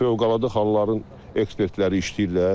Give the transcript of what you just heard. Fövqəladə Halların ekspertləri işləyirlər.